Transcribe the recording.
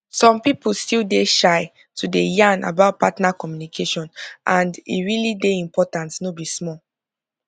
some people still dey shy to dey yan about partner communication and e really dey important no be small